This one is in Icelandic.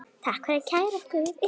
Takk fyrir að kæra okkur